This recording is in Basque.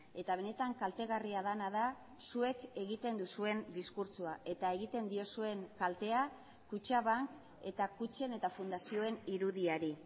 eta benetan kaltegarria dena da zuek egiten duzuen diskurtsoa eta egiten diozuen kaltea kutxabank eta kutxen eta fundazioen irudiari